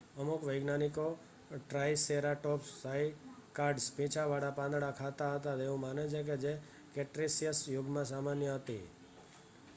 અમુક વૈજ્ઞાનિકો triceratops cycads પીંછાવાળા પાંદડા ખાતા હતા તેવું માને છે કે જે ક્રેટેસીયસ યુગમાં સામાન્ય હતી